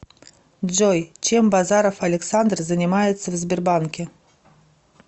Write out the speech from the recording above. джой чем базаров александр занимается в сбербанке